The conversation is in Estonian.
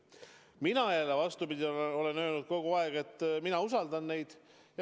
Mina jälle, vastupidi, olen öelnud kogu aeg, et mina usaldan neid.